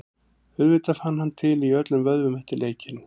Auðvitað fann hann til í öllum vöðvum eftir leikinn.